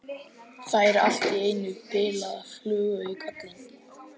Fær allt í einu bilaða flugu í kollinn.